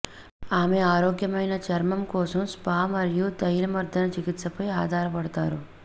ఆమె ఆరోగ్యమైన చర్మం కోసం స్పా మరియు తైలమర్ధన చికిత్సపై ఆధారపడతారు